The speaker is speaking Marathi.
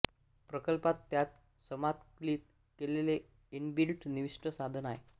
प्रकल्पात त्यात समाकलित केलेले इनबिल्ट निविष्टी साधन आहे